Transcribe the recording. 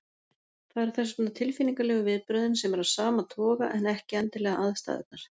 Það eru þess vegna tilfinningalegu viðbrögðin sem eru af sama toga en ekki endilega aðstæðurnar.